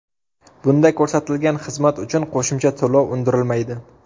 Bunda ko‘rsatilgan xizmat uchun qo‘shimcha to‘lov undirilmaydi.